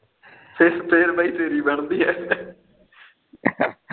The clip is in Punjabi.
ਫਿਰ ਫਿਰ ਬਾਈ ਤੇਰੀ ਬਣਦੀ ਐ